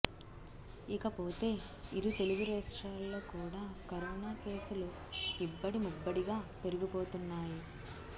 ఇకపోతే ఇరు తెలుగు రాష్ట్రాల్లో కూడా కరోనా కేసులు ఇబ్బడిముబ్బడిగా పెరిగిపోతున్నాయి